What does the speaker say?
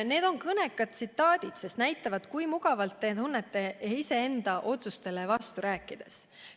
" Need on kõnekad tsitaadid, sest näitavad, kui mugavalt te tunnete end iseenda otsustele vastu rääkides.